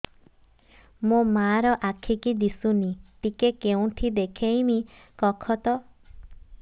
ମୋ ମା ର ଆଖି କି ଦିସୁନି ଟିକେ କେଉଁଠି ଦେଖେଇମି କଖତ